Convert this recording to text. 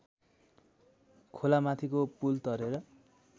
खोलामाथिको पुल तरेर